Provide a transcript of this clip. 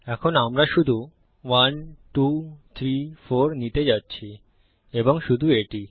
এখন আমরা শুধু 1234 নিতে যাচ্ছি এবং শুধু এটিই